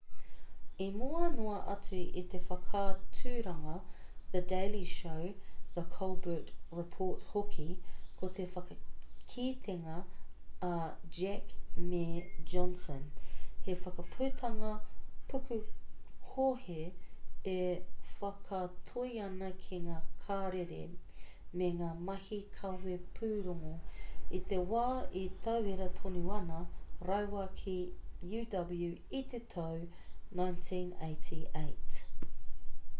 i mua noa atu i te whakaaturanga the daily show the colbert report hoki ko te whakakitenga a heck me johnson he whakaputanga pukuhohe e whakatoi ana ki ngā karere me ngā mahi kawe pūrongo i te wā e tauira tonu ana rāua ki uw i te tau 1988